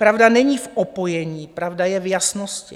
Pravda není v opojení, pravda je v jasnosti.